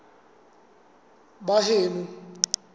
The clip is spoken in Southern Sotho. baheno